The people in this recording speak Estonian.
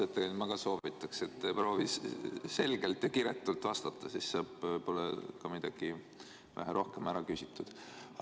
Ausalt öeldes ma ka soovitaks, et proovi selgelt ja kiretult vastata, siis saab midagi vähe rohkem ära küsitud.